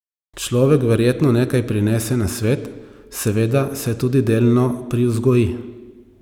Človek verjetno nekaj prinese na svet, seveda se tudi delno privzgoji.